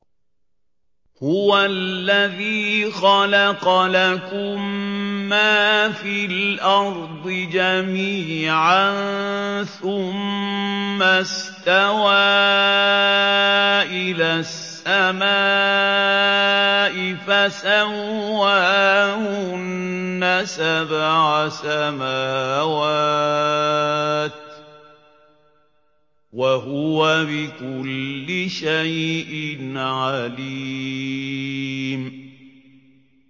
هُوَ الَّذِي خَلَقَ لَكُم مَّا فِي الْأَرْضِ جَمِيعًا ثُمَّ اسْتَوَىٰ إِلَى السَّمَاءِ فَسَوَّاهُنَّ سَبْعَ سَمَاوَاتٍ ۚ وَهُوَ بِكُلِّ شَيْءٍ عَلِيمٌ